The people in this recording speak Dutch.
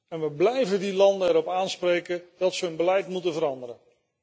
En we blijven die landen erop aanspreken dat ze hun beleid moeten veranderen.